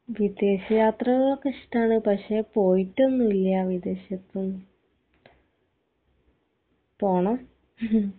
വിദേശ യാത്രകളൊക്കെ ഇഷ്ട്ടാണ് പഷേ പോയിട്ടൊന്നൂല്യ വിദേശത്തും പോണം